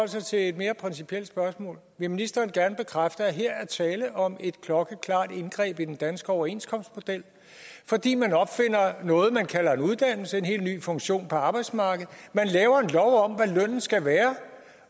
sig til et mere principielt spørgsmål vil ministeren gerne bekræfte at her er tale om et klokkeklart indgreb i den danske overenskomstmodel fordi man opfinder noget man kalder en uddannelse en helt ny funktion på arbejdsmarkedet og skal være